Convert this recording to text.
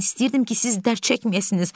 Mən istəyirdim ki, siz dərd çəkməyəsiniz.